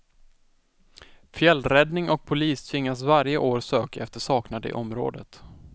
Fjällräddning och polis tvingas varje år söka efter saknade i området.